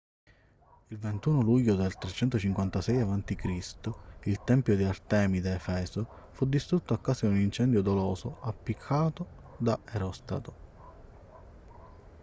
il 21 luglio del 356 a.c. il tempio di artemide a efeso fu distrutto a causa di un incendio doloso appiccato da erostrato